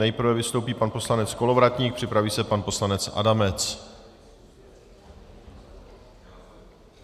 Nejprve vystoupí pan poslanec Kolovratník, připraví se pan poslanec Adamec.